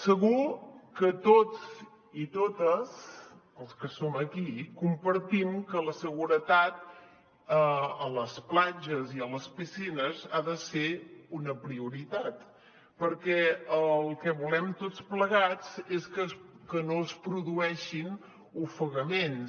segur que tots i totes els que som aquí compartim que la seguretat a les platges i a les piscines ha de ser una prioritat perquè el que volem tots plegats és que no es produeixin ofegaments